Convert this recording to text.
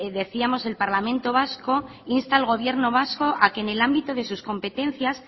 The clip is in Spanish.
decíamos el parlamento vasco insta al gobierno vasco a que en el ámbito de sus competencias